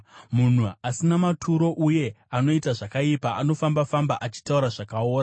Munhu asina maturo uye anoita zvakaipa, anofamba-famba achitaura zvakaora,